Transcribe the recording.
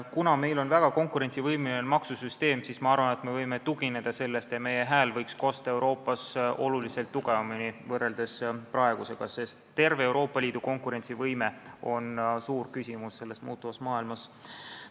Kuna meil on väga konkurentsivõimeline maksusüsteem, siis ma arvan, et me võime sellele tugineda ja meie hääl võiks praegusega võrreldes Euroopas kosta oluliselt tugevamini, sest terve Euroopa Liidu konkurentsivõime on selles muutuvas maailmas küsimärgi all.